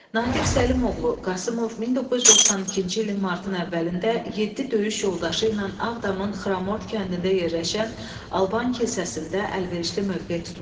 Natiq Səlimoğlu Qasımov 1992-ci ilin martın əvvəlində yeddi döyüş yoldaşı ilə Ağdamın Xramort kəndində yerləşən alban kilsəsində əlverişli mövqe tutmuşdu.